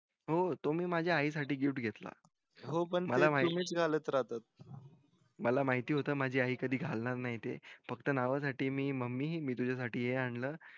तो मी माझ्या आई साठी gift घेतला मला माहित होत माझी आई कधी घालणार नई ते फक्त नावा साठी मी mummy मी हे तुझ्या साठी मी आणलं